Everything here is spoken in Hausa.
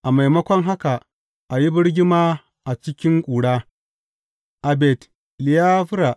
A maimako haka, a yi birgima a cikin ƙura a Bet Leyafra.